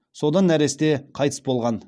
содан нәресте қайтыс болған